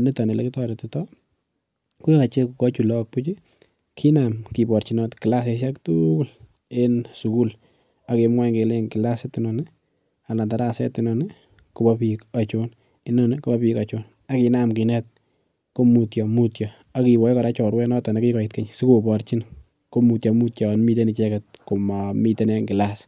niton ale kitoretitoi ko yochei koyoichi lakok buuch kinam keborchinot kilasishek tugul en sukul agemwoch kelechi kilasit enon ni anan daraset anon ni kobo biik achon inoni kobo biik achon akinam kinet ko mutyo mutyo akikoch kora chorwetnoton nekikoit keny sikoborchin ko mutyomityo yo miten icheket komamiten en kilas